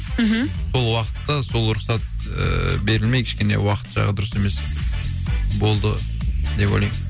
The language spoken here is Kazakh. мхм сол уақытта сол рұқсат ііі берілмей кішкене уақыт жағы дұрыс емес болды деп ойлаймын